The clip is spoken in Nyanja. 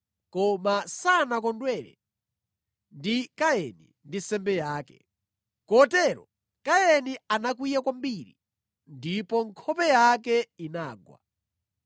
Koma sanakondwere ndi Kaini ndi nsembe yake. Kotero Kaini anakwiya kwambiri ndipo nkhope yake inagwa.